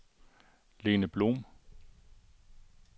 Lene Blom